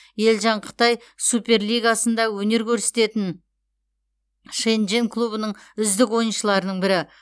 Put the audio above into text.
елжан қытай суперлигасында өнер көрсететін шэньчжэнь клубының үздік ойыншыларының бірі